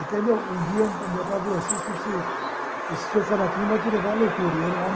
Até meu, um dia, o meu pai falou: esse seu fanatismo vai te levar à loucura. E era um homem